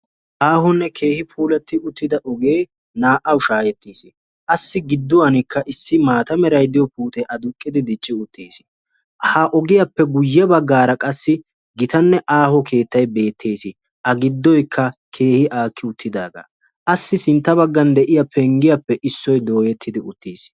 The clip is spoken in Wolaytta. Aahonne keehi puulatti uttida oge naa"awu shaahettis. Assi gidduwanikka issi maata meray de'iyo puutee aduqqidi dicci uttis. Ha ogiyappe guyye baggaara qassi gitanne aaho keettay beettees. A giddoyikka keehi aakki uttidaagaa. Assi sintta baggan de'iya penggiyappe issoy dooyetti uttidis.